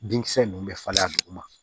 Binkisɛ ninnu bɛ falen a duguma